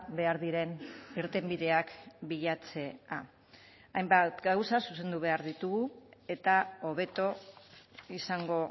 behar diren irtenbideak bilatzea hainbat gauza zuzendu behar ditugu eta hobeto izango